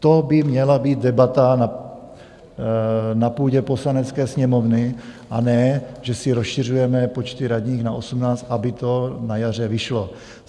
To by měla být debata na půdě Poslanecké sněmovny, a ne že si rozšiřujeme počty radních na 18, aby to na jaře vyšlo.